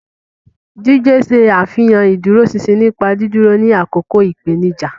Jide ṣe àfihàn ìdúróṣinṣin nípa dídúró ní àkókò ìpèníjà.